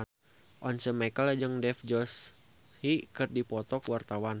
Once Mekel jeung Dev Joshi keur dipoto ku wartawan